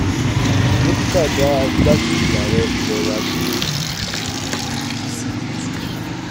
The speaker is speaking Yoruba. dókítà dá igbákejì ààrẹ ilé wa dúró ṣíṣíbítú